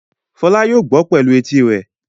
Fọlá yóò gbọ́ pẹ̀lú etí rẹ̀.